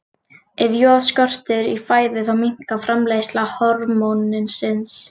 Ef joð skortir í fæðu þá minnkar framleiðsla hormónsins.